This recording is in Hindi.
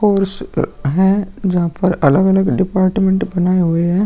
कोर्स अ है जहां पर अलग-अलग डिपाटमें बनाए हुए है।